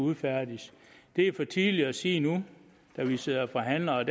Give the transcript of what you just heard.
udfærdiges er for tidligt at sige nu når vi sidder og forhandler der